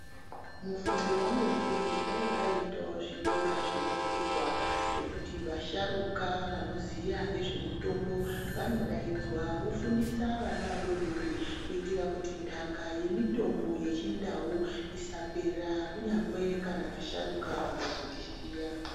Mufungo wangu ndewe kuti dai paitwawo zvikora zvinovhurwa zvekuti vasharukwa vanoziya nezvemitombo vanodaidzwa vofundisa vana vadodori kuitira kuti ndaka yemitombo yechindau isapera kunyangwe vasharukwa vakazotisiya.